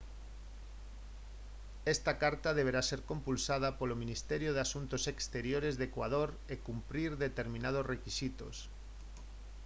esta carta deberá ser compulsada polo ministerio de asuntos exteriores de ecuador e cumprir determinados requisitos